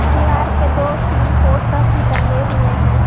दीवार पे दो तीन पोस्टर भी टंगे हुए हैं।